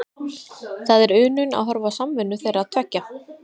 Það er unun að horfa á samvinnu þeirra tveggja.